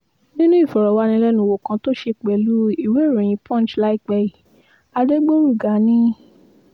nínú ìfọ̀rọ̀wánilẹ́nuwò kan tó ṣe pẹ̀lú ìwéèròyìn punch láìpẹ́ yìí adégbòrugà ni